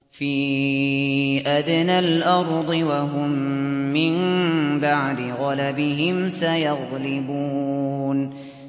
فِي أَدْنَى الْأَرْضِ وَهُم مِّن بَعْدِ غَلَبِهِمْ سَيَغْلِبُونَ